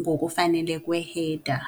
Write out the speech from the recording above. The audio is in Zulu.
ngokufanele kwe-header.